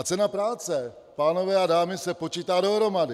A cena práce, pánové a dámy, se počítá dohromady!